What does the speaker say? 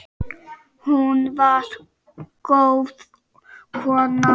Hún var góð kona.